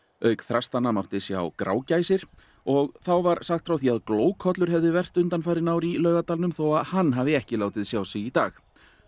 auk þrastanna mátti sjá grágæsir og þá var sagt frá því að hefði verpt undanfarin ár í Laugardalnum þó að hann hefði ekki látið sjá sig í dag